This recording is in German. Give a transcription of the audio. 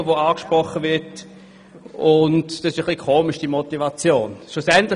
Für die SP ist dies natürlich störend, denn die SP ist die Partei für alle statt für wenige.